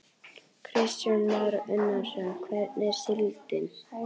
Kristján Már Unnarsson: Hvernig er síldin?